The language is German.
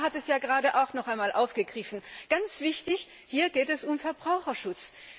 Der Kommissar hat es gerade auch noch einmal aufgegriffen. Ganz wichtig Hier geht es um Verbraucherschutz!